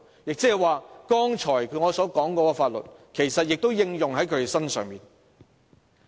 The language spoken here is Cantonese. "意思是剛才我所說的法律也適用於他們。